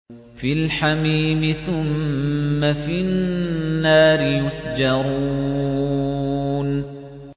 فِي الْحَمِيمِ ثُمَّ فِي النَّارِ يُسْجَرُونَ